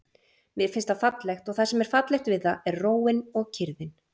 Mér finnst það fallegt og það sem er fallegt við það er róin og kyrrðin.